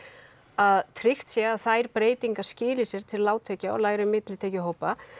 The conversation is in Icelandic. að tryggt sé að þær breytingar skili sér til lágtekju og millitekjuhópa